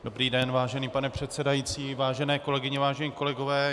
Dobrý den, vážený pane předsedající, vážené kolegyně, vážení kolegové.